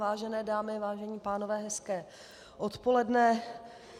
Vážené dámy, vážení pánové, hezké odpoledne.